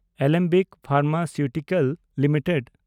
Alembic pharmaceutical limited